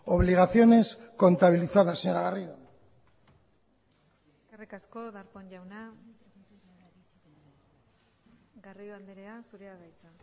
obligaciones contabilizadas señora garrido eskerrik asko darpón jauna garrido andrea zurea da hitza